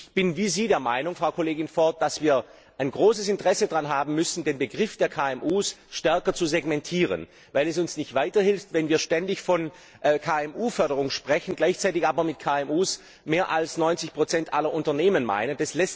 Ich bin wie Sie, Frau Kollegin Ford, der Meinung, dass wir ein großes Interesse daran haben müssen, den Begriff der KMU stärker zu segmentieren, weil es uns nicht weiterhilft, wenn wir ständig von KMU Förderung sprechen, gleichzeitig aber mit KMU mehr als 90 aller Unternehmen meinen.